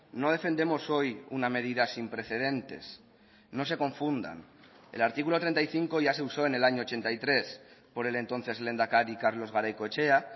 no defendemos hoy una medida sin precedentes no se confundan el artículo treinta y cinco ya se usó en el año ochenta y tres por el entonces lehendakari carlos garaikoetxea